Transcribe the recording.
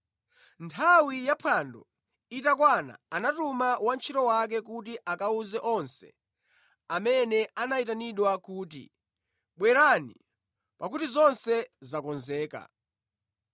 Nthawi yaphwando itakwana anatuma wantchito wake kuti akawuze onse amene anayitanidwa kuti, ‘Bwerani, pakuti zonse zakonzeka.’